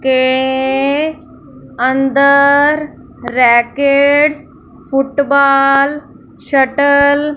के अंदर rackets football shuttle --